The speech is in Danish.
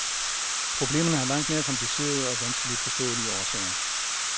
Problemerne har langt mere komplicerede og vanskeligt forståelige årsager.